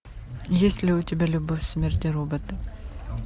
есть ли у тебя любовь смерть и роботы